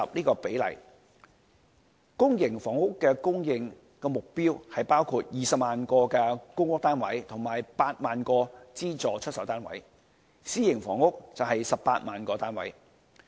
公營房屋的供應目標包括20萬個公屋單位及8萬個資助出售單位，私營房屋則為18萬個單位。